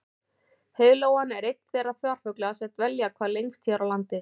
Heiðlóan er einn þeirra farfugla sem dvelja hvað lengst hér á landi.